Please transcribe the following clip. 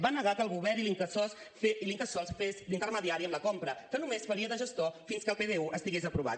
va negar que el govern i l’incasòl fessin d’intermediari en la compra que només faria de gestor fins que el pdu estigués aprovat